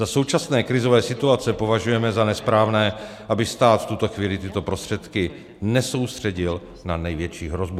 Za současné krizové situace považujeme za nesprávné, aby stát v tuto chvíli tyto prostředky nesoustředil na největší hrozbu.